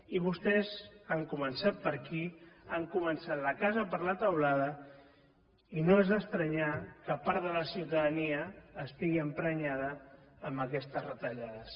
i vostès han començat per aquí han començat la casa per la teulada i no és estrany que part de la ciutadania estigui emprenyada amb aquestes retallades